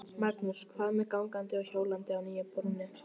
Magnús: Hvað með gangandi og hjólandi á nýju brúnni?